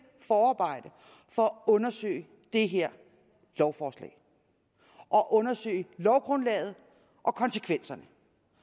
forarbejde for at undersøge det her lovforslag og undersøge lovgrundlaget og konsekvenserne